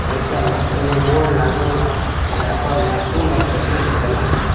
अइसन एगो बोर्ड लागल बा जहां पर नर्सिंग मार्केटिंग लिखल गइल बा ।